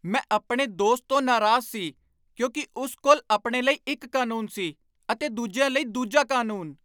ਮੈਂ ਆਪਣੇ ਦੋਸਤ ਤੋਂ ਨਾਰਾਜ਼ ਸੀ ਕਿਉਂਕਿ ਉਸ ਕੋਲ ਆਪਣੇ ਲਈ ਇੱਕ ਕਾਨੂੰਨ ਸੀ ਅਤੇ ਦੂਜਿਆਂ ਲਈ ਦੂਜਾ ਕਾਨੂੰਨ।